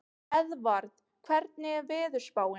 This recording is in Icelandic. Eðvarð, hvernig er veðurspáin?